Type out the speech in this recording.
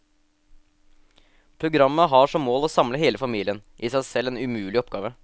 Programmet har som mål å samle hele familien, i seg selv en umulige oppgave.